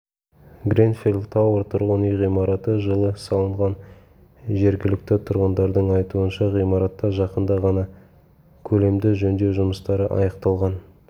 гренфелл-тауэр тұрғын үй ғимараты жылы салынған жергілікті тұрғындардың айтуынша ғимаратта жақында ғана көлемді жөндеу жұмыстары аяқталған